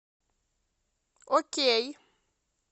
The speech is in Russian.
окей